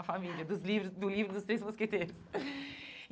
A família dos livros do livro dos Três Mosqueteiros.